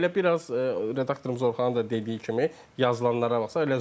Hə elə biraz redaktorumuz Orxanın da dediyi kimi yazılanlara baxsaq.